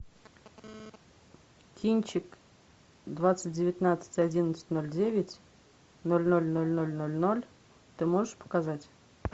кинчик двадцать девятнадцать одиннадцать ноль девять ноль ноль ноль ноль ноль ноль ты можешь показать